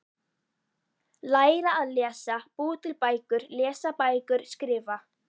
Læra að lesa- búa til bækur- lesa bækur- skrifa